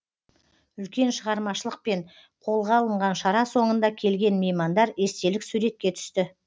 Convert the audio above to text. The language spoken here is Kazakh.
үлкен шығармашылықпен қолға алынған шара соңында келген меймандар естелік суретке түсті